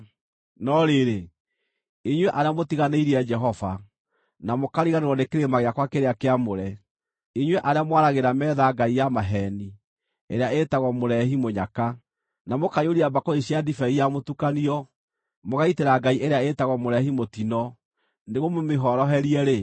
“No rĩrĩ, inyuĩ arĩa mũtiganĩirie Jehova, na mũkariganĩrwo nĩ kĩrĩma gĩakwa kĩrĩa kĩamũre, inyuĩ arĩa mwaragĩra metha ngai ya maheeni ĩrĩa ĩtagwo Mũreehi-mũnyaka, na mũkaiyũria mbakũri cia ndibei ya mũtukanio mũgaitĩra ngai ĩrĩa ĩtagwo Mũreehi-mũtino nĩguo mũmĩhoorerie-rĩ,